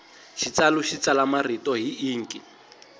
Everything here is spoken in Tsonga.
xitsalu xi tsala marito hi inki